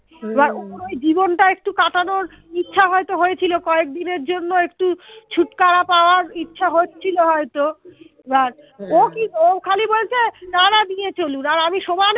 এবার ওর ওই জীবনটা একটু কাটানোর ইচ্ছা হয়ত হয়েছিল কয়েক দিনের জন্য একটু छुटकारा পাওয়ার ইচ্ছা হচ্ছিল হয়তো এবার ও কি ও খালি বলছে নানা নিয়ে চলুন আর আমি সমানে